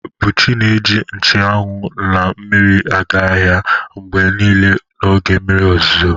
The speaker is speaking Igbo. Buchi na-eji nche anwụ na mmiri aga ahịa mgbe niile n'oge mmiri ozuzo.